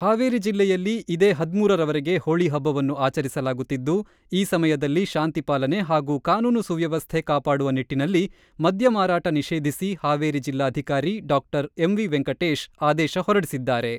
ಹಾವೇರಿ ಜಿಲ್ಲೆಯಲ್ಲಿ ಇದೇ ಹದಿಮೂರ ರವರೆಗೆ ಹೋಳಿ ಹಬ್ಬವನ್ನು ಆಚರಿಸಲಾಗುತ್ತಿದ್ದು, ಈ ಸಮಯದಲ್ಲಿ ಶಾಂತಿ ಪಾಲನೆ ಹಾಗೂ ಕಾನೂನು ಸುವ್ಯವಸ್ಥೆ ಕಾಪಾಡುವ ನಿಟ್ಟಿನಲ್ಲಿ ಮದ್ಯ ಮಾರಾಟ ನಿಷೇಧಿಸಿ ಹಾವೇರಿ ಜಿಲ್ಲಾಧಿಕಾರಿ ಡಾಕ್ಟರ್ ಎಂ.ವಿ.ವೆಂಕಟೇಶ್ ಆದೇಶ ಹೊರಡಿಸಿದ್ದಾರೆ.